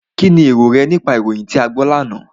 Kínni èrò rẹ nípa ìròyìn tí a gbọ́ lánàá?